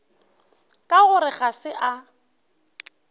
ka gore ga se a